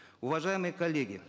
уважаемые коллеги